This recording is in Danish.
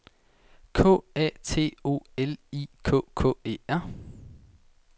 K A T O L I K K E R